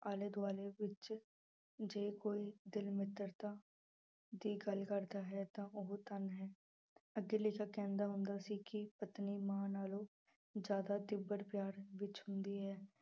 ਆਲੇ ਦੁਆਲੇ ਵਿੱਚ ਜੇ ਕੋਈ ਦਿਲ ਮਿੱਤਰਤਾ ਦੀ ਗੱਲ ਕਰਦਾ ਹੈ ਤਾਂ ਉਹ ਧਨ ਹੈ ਅੱਗੇ ਲੇਖਕ ਕਹਿੰਦਾ ਹੁੰਦਾ ਸੀ ਕਿ ਪਤਨੀ ਮਾਂ ਨਾਲੋਂ ਜ਼ਿਆਦਾ ਤੀਬਰ ਪਿਆਰ ਵਿੱਚ ਹੁੰਦੀ ਹੈ।